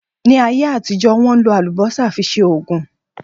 Ní ayé àtijọ́, Wọ́n ń lò Àlùbọ́sà fi ṣe Ògùn